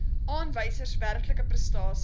aanwysers werklike prestasies